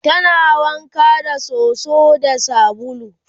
tana wanka da soso da sabulu